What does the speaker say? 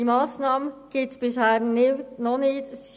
Diese Massnahme gibt es bis anhin nicht.